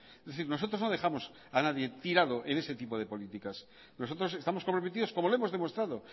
es decir nosotros no dejamos a nadie tirado en ese tipo de políticas nosotros estamos comprometidos como lo hemos demostrado